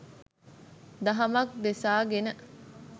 දහමක් දෙසා ගෙන